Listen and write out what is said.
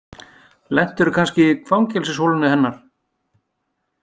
Lentirðu kannski í fangelsisholunni hennar?